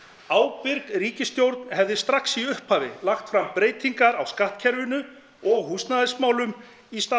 ábyrg ríkisstjórn hefði strax í upphafi lagt fram breytingar á skattkerfinu og húsnæðismálum í stað